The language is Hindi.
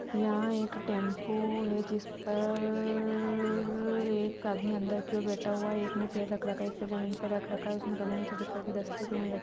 यहाँ एक टेम्पो है जिस परररररररर एक आदमी अंदर की ओर बैठा हुआ एक ने पेर रख रखा है एक पेर जमीन पर रख रखा है उसने गले मैं सफ़ेद कलर के दस्ते पेहन रखे---